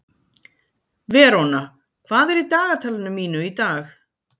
Veróna, hvað er í dagatalinu mínu í dag?